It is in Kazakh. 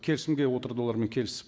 келісімге отырды олармен келісіп